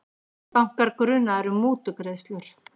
Bankar grunaðir um mútugreiðslur